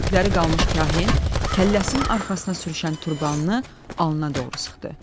Sümükləri qalmış Kahin kəlləsinin arxasına sürüşən turbanını alnına doğru sıxdı.